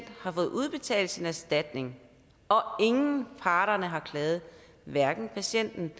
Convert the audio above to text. har fået udbetalt sin erstatning og ingen af parterne har klaget hverken patienten